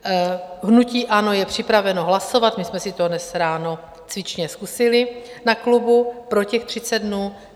Hnutí ANO je připraveno hlasovat, my jsme si to dnes ráno cvičně zkusili na klubu, pro těch 30 dnů.